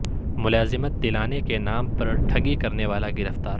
ملازمت دلانے کے نام پر ٹھگی کرنے والا گرفتار